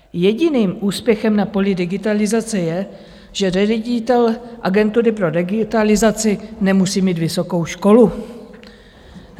Jediným úspěchem na poli digitalizace je, že ředitel agentury pro digitalizaci nemusí mít vysokou školu.